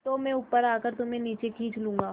तो मैं ऊपर आकर तुम्हें नीचे खींच लूँगा